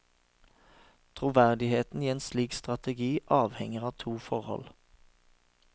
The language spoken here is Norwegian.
Troverdigheten i en slik strategi avhenger av to forhold.